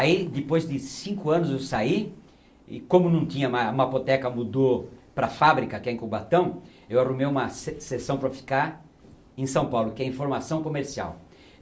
Aí, depois de cinco anos eu saí, e, como não tinha ma, a mapoteca mudou para a fábrica, que é em Cubatão, eu arrumei uma se sessão para ficar em São Paulo, que é informação comercial.